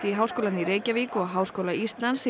í Háskólann í Reykjavík og Háskóla Íslands